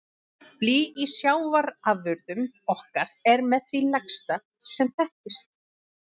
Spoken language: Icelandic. Blý í sjávarafurðum okkar er með því lægsta sem þekkist.